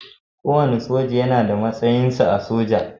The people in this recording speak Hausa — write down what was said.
Kowane soja yana da matsayinsa/ta a soja.